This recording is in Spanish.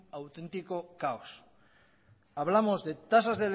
auténtico caos hablamos de tasas